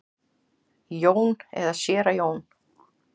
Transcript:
Jón eða séra Jón?